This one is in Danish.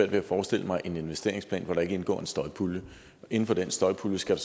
ved at forestille mig en investeringsplan hvor der ikke indgår en støjpulje inden for den støjpulje skal